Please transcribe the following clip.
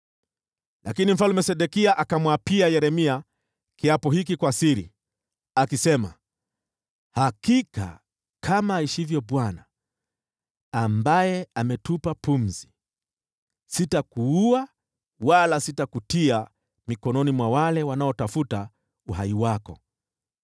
Lakini Mfalme Sedekia akamwapia Yeremia kiapo hiki kwa siri, akisema, “Hakika kama aishivyo Bwana , ambaye ametupa pumzi, sitakuua wala sitakutia mikononi mwa wale wanaotafuta uhai wako.”